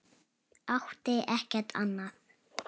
Átti ekkert annað.